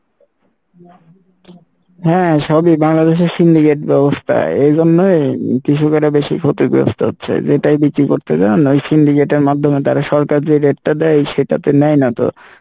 হ্যাঁ সবই বাংলাদেশের ব্যবস্থা এই জন্যই কৃষকেরা বেশি ক্ষতিগ্রস্থ হচ্ছে যেটাই বিক্রি করতে যান ওই মাধ্যমে তারা সরকার যে rate টা দেই সেটাতে নেই না তো,